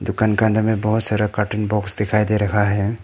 दुकान का अंदर में बहोत सारा कार्टून बॉक्स दिखाई दे रखा है।